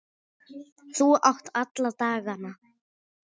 Þú átt alla dagana.